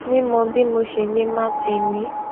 mímọ bí mo ṣe lè máa tè lé